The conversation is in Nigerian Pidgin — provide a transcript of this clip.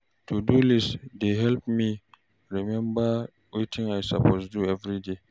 To-do list dey help me remember wetin I suppose do each day.